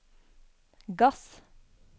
gass